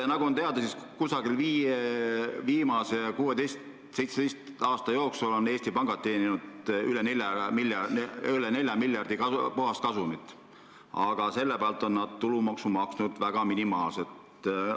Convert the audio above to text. Nagu on teada, siis kusagil 16 või 17 aasta jooksul on Eesti pangad teeninud üle 4 miljardi euro puhaskasumit, aga selle pealt on nad tulumaksu maksnud väga minimaalselt.